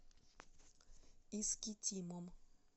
искитимом